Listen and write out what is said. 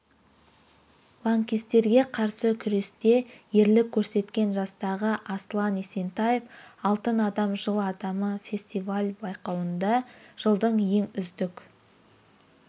лаңкестерге қарсы күресте ерлік көрсеткен жастағы аслан есентаев алтын адам жыл адамы фестиваль-байқауында жылдың ең үздік